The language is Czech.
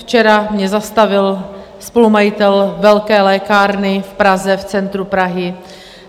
Včera mě zastavil spolumajitel velké lékárny v Praze, v centru Prahy.